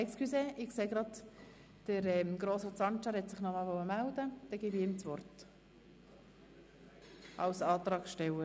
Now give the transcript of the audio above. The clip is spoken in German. – Entschuldigung, der Antragsteller, Grossrat Sancar, wünscht nochmals das Wort.